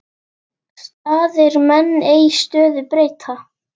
Staðir menn ei stöðu breyta.